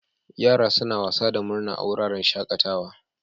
Yara suna wasa da murna a wuraren shakatawa.